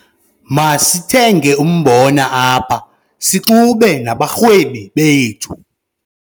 Masithenge umbona apha sixume abarhwebi bethu.